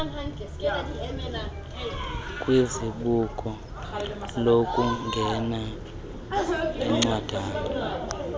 kwizibuko lokungena incwadana